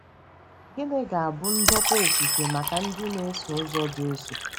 Gịnị ga-abụ ndokwa ofufe maka ndị na-eso ụzọ Jesu?